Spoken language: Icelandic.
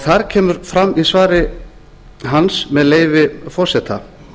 þar kemur fram í svari hans með leyfi forseta